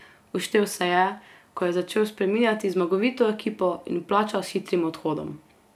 Uštel se je, ko je začel spreminjati zmagovito ekipo, in plačal s hitrim odhodom.